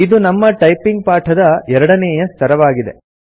ಇದು ನಮ್ಮ ಟೈಪಿಂಗ್ ಪಾಠದ ಎರಡನೇಯ ಸ್ತರವಾಗಿದೆ